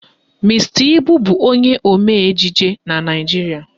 Mr. Ibu bụ onye omee ejije na Naijiria